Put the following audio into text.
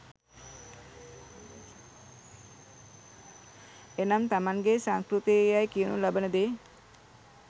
එනම් තමන්ගේ සංස්කෘතිය යැයි කියනු ලබන දේ